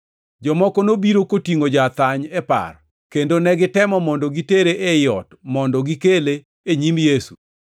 Jomoko nobiro kotingʼo ja-athany e par kendo negitemo mondo gitere ei ot mondo gikele e nyim Yesu.